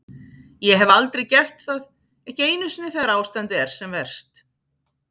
Ég hef aldrei gert það, ekki einu sinni þegar ástandið er sem verst.